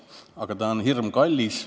Aga ta on hirmkallis.